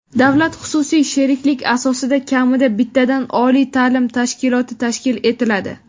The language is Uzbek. davlat-xususiy sheriklik asosida kamida bittadan oliy taʼlim tashkiloti tashkil etiladi.